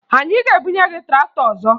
Anyị ga-ebunye gị traktọ ọzọ